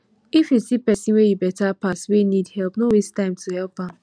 if you see pesin wey you beta pass wey need help no waste time to help am